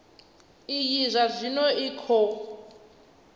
iyi zwa zwino i khou